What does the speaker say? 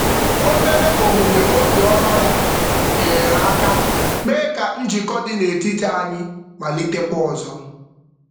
Obere omume obiọma ya nyeere aka mee ka njikọ dị n'etiti anyị malitekwa ọzọ.